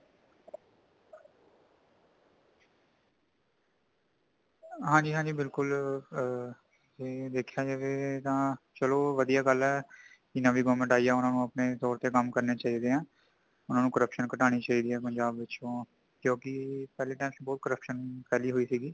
ਹਾਂਜੀ ਹਾਂਜੀ ਬਿਲਕੁੱਲ ਆ ਜੈ ਦੇਖਿਆਂ ਜਏ ਤੈ ਤਾਂ ਚਲੋਂ ਵੱਧੀਆ ਗੱਲ ਹੈਂ, ਕਿ ਨਵੀਂ government ਆਇ ਹੈ ,ਉਨ੍ਹਾਂ ਨੂੰ ਅਪਨੇ ਤੋਰ ਤੇ ਕੰਮ ਕਰਨੇ ਚਾਹੀਦੇ ਹਾਂ ,ਉਨ੍ਹਾਂ ਨੂੰ corruption ਕਟਾਣੀ ਚਾਹੀਦੇ ਹੈਂ ਪੰਜ਼ਾਬ ਵਿੱਚ ਤੋਂ ਕਿਉਂਕਿ ਪਹਿਲਾਂ time ਵਿਚ ਬਹੁੱਤ corruption ਫੈਲੀ ਹੋਈਂ ਸੀਗੀ